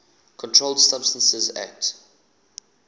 controlled substances acte